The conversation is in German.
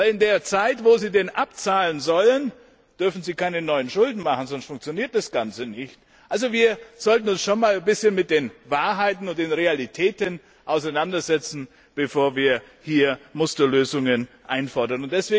Denn in der Zeit, in der sie ihn abzahlen sollen, dürfen sie keine neuen Schulden machen, sonst funktioniert das Ganze nicht. Also sollten wir uns schon ein bisschen mit den Wahrheiten und den Realitäten auseinandersetzen, bevor wir Musterlösungen einfordern.